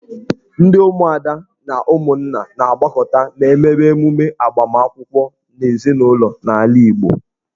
Ndị ụmụada na ụmụnna na-agbakọta ma emewe emume agbamakwụkwọ n'ezinụlọ n'ala Igbo.